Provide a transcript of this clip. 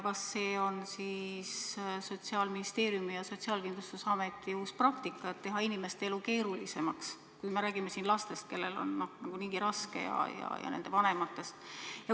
Kas see on Sotsiaalministeeriumi ja Sotsiaalkindlustusameti uus praktika, et teha inimeste elu keerulisemaks, kui räägime siin lastest, kellel on niigi raske, ja nende vanematest?